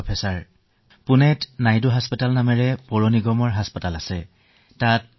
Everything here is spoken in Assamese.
আৰু আমাৰ পুণে পৌৰনিগমৰ চিকিৎসালয় আছে নাইডু চিকিৎসায়